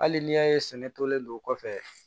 Hali n'i y'a ye sɛnɛ tolen don kɔfɛ